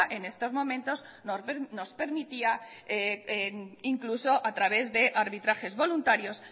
en estos momentos nos permitía incluso a través de arbitrajes voluntarios